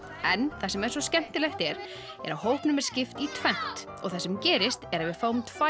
en það sem er svo skemmtilegt er er að hópnum er skipt í tvennt og það sem gerist er að við fáum tvær